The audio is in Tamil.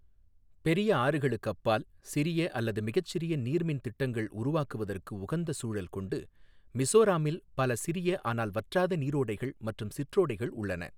பெரிய ஆறுகளுக்கு அப்பால், சிறிய அல்லது மிகச்சிறிய நீர்மின் திட்டங்கள் உருவாக்குவதற்கு உகந்த சூழல் கொண்டு மிஸோராம்மில் பல சிறிய ஆனால் வற்றாத நீரோடைகள் மற்றும் சிற்றோடைகள் உள்ளன.